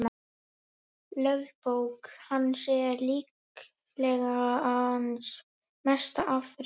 Lögbók hans er líklega hans mesta afrek.